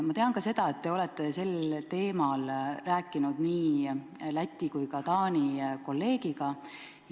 Ma tean ka seda, et te olete sellel teemal rääkinud nii Läti kui ka Taani kolleegiga.